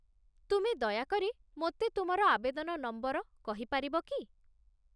ତୁମେ ଦୟାକରି ମୋତେ ତୁମର ଆବେଦନ ନମ୍ବର କହିପାରିବ କି?